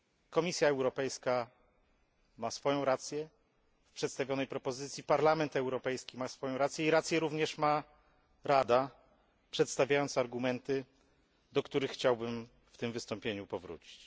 Komisja Europejska ma swoją rację w przedstawionej propozycji, Parlament Europejski ma swoją rację i rację ma również Rada, przedstawiając argumenty, do których chciałbym w tym wystąpieniu powrócić.